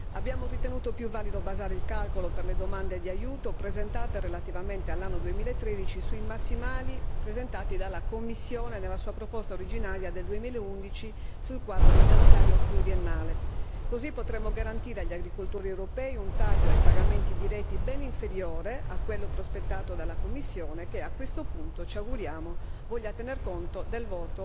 Abbiamo ritenuto più valido basare il calcolo per le domande di aiuto presentate relativamente all'anno 2013 sui massimali presentati dalla Commissione nella sua proposta originaria del 2011 sul quadro finanziario pluriennale, così potremo garantire agli agricoltori europei un taglio ai pagamenti diretti ben inferiore a quello prospettato dalla Commissione, che a questo punto ci auguriamo voglia tener conto del